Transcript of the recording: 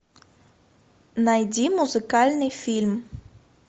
найди музыкальный фильм